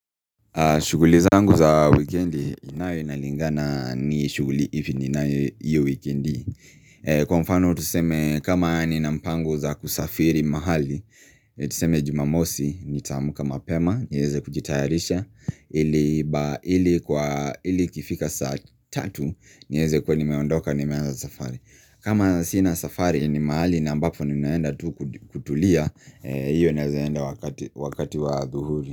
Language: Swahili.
Shuguli zangu za wikendi, nayo inalingana ni shuguli ipi ninayo hiyo wikendi Kwa mfano tuseme kama nina mpango za kusafiri mahali Tuseme jumamosi, nitaamuka mapema, niweze kujitayarisha ili ikifika saa tatu, niweze kuwa nimeondoka nimeanza safari kama sina safari ni mahali na mbapo ni naenda tu kutulia Iyo naweza enda wakati wa adhuhuri.